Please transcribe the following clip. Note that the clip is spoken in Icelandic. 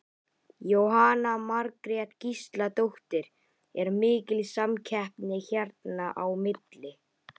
Jóhanna Margrét Gísladóttir: Er mikil samkeppni hérna á milli?